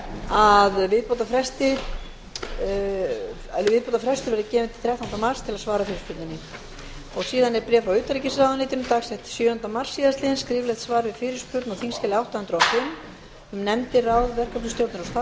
að viðbótarfrestur verði gefinn til þrettánda mars til að svara fyrirspurninni síðan er bréf frá utanríkisráðuneytinu dagsett sjöunda mars síðastliðinn skriflegt svar við fyrirspurn á þingskjali átta hundruð og fimm um nefndir ráð verkefnisstjórnir og starfshópa